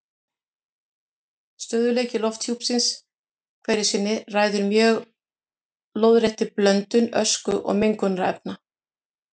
Stöðugleiki lofthjúpsins hverju sinni ræður mjög lóðréttri blöndun ösku og mengunarefna.